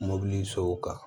Mobili so kan